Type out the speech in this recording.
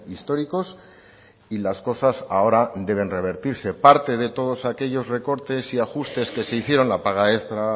históricos y las cosas ahora deben revertirse parte de todos aquellos recortes y ajustes que se hicieron la paga extra